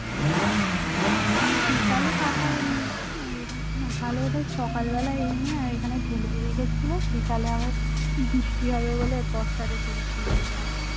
বিকালে পাতা তাহলে বোধয় সকালবেলা এনে এখানে ঢেলে রেখেছিলো বিকালে আবার বৃষ্টি হবে বলে বস্তাতে তুলছিলো দেখলাম